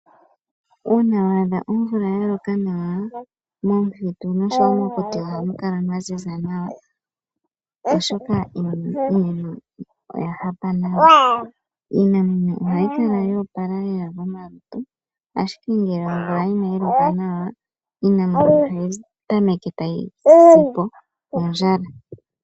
Uuna wa adha omvula ya loka nawa, momuthitu oshowo mokuti ohamu kala mwa ziza nawa oshoka iimeno oya hapa nawa. Iinamwenyo ohayi kala yo opala lela komalutu ashike ngele omvula inayi loka nawa, iinamwenyo ohayi tameke tayi si po kondjala.